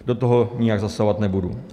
Do toho nijak zasahovat nebudu.